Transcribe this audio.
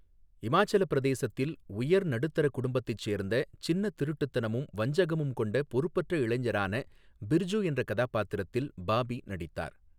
இமாச்சலப் பிரதேசத்தில் உயர் நடுத்தர குடும்பத்தைச் சேர்ந்த, சின்ன திருட்டுத்தனமும் வஞ்சகமும் கொண்ட பொறுப்பற்ற இளைஞரான பிர்ஜு என்ற கதாபாத்திரத்தில் பாபி நடித்தார்.